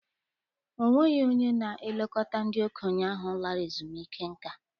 Ọ nweghị onye na-elekọta ndị okenye ahụ lara ezumike nka.